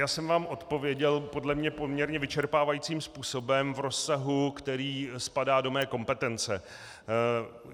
Já jsem vám odpověděl podle mě poměrně vyčerpávajícím způsobem v rozsahu, který spadá do mé kompetence.